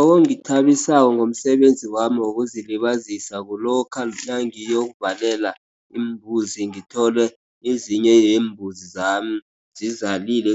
Okungithabisako ngomsebenzi wami wokuzilibazisa kulokha nangiyokuvalela iimbuzi, ngithole ezinye yembuzi zami, zizalile